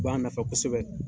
U b'an nafa kosɛbɛ.